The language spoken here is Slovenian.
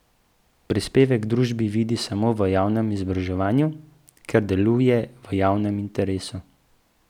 Prispevek družbi vidi samo v javnem izobraževanju, ker deluje v javnem interesu.